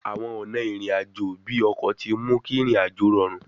Àwọn ọ̀nà ìrìn àjò bíi ọkọ̀ tí mú kí ìrìn àjò rọrùn